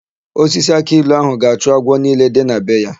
Osisi akị ilu áhụ̀ ga-achụ agwọ niile dị na be ya.